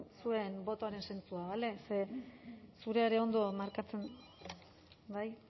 zuen botoaren zentzua bale ze zurea ere ondo markatzen bai